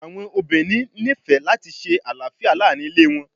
Awọn obinrin nifẹ lati ṣe alafia laarin ile wọn